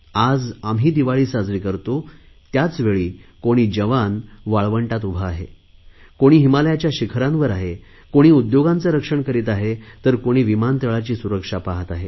आज आम्ही दिवाळी साजरी करतो त्याचवेळी कोणी जवान वाळवंटात उभा आहे कोणी हिमालयाच्या शिखरांवर आहे कोणी उद्योगांचे रक्षण करीत आहे तर कोणी विमानतळाची सुरक्षा पाहत आहे